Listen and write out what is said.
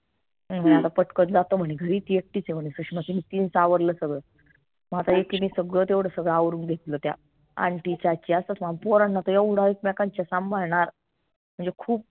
पटकन जातो म्हने घरी ती एकटीच आहे म्हने सुषमा तिनीच आवरलं सगळं म आता एकिनी सगळं तेवढं सगळं आवरून घेतलं त्या पोरांना त येवढा एकमेकांच्या सांभाळणार म्हनजे खूप